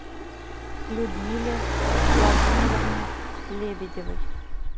людмиле владимировне лебедевой